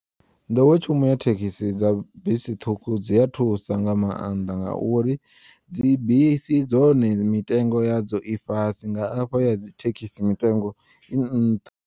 Nḓowetshumo ya thekhisi dza bisi ṱhukhu dzia thusa nga maanḓa ngauri dzi bisi dzone mitengo yadzo i fhasi nga afha ya dzi thekisi mitengo i nnṱha.